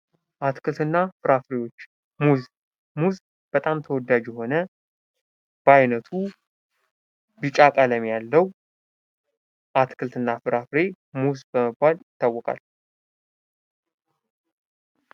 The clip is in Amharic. አትክልት እና ፍራፍሬዎች:-ሙዝ፦ ሙዝ በጣም ተወዳጅ የሆነ በአይነቱ ቢጫ ቀለም ያለው አትክልት እና ፍራፍሬ ሙዝ በመባል ይታወቃል።